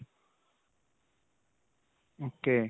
ok.